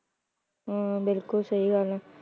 ਹਾਂ ਬਿਲਕੁਲ ਸਹੀ ਗੱਲ ਹੈ।